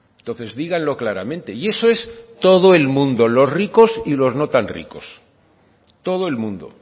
entonces díganlo claramente y eso es todo el mundo los ricos y los no tan ricos todo el mundo